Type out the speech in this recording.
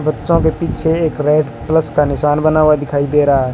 बच्चों के पीछे एक रेड प्लस का निशान बना हुआ दिखाई दे रहा है।